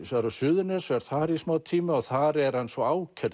á Suðurnes og er þar í smátíma þar er hann svo ákærður